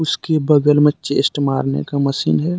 उसके बगल में चेस्ट मारने का मशीन है।